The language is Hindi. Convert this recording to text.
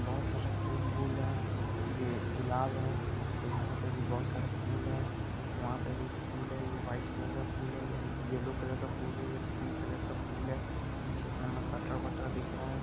बहुत सारा फूल-वूल है ये गुलाब है फिर यहाँ पे भी बहुत सारा फूल है फिर वहाँ पे भी फूल है ये व्हाइट कलर का फूल है ये येलो कलर का फूल है ये पिंक कलर का फूल है पीछे दिख रहा है।